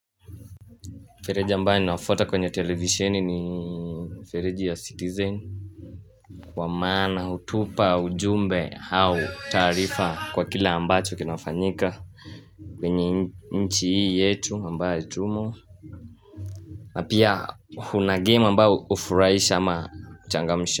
Mfereji ambayo ninawafuata kwenye televisioni ni mfereji ya citizen kwamaana, hutupa, ujumbe au taarifa kwa kila ambacho kinafanyika kwenye nchi hii yetu ambayo tumo Napia hunagame ambayo ufurahisha ama uchangamsha.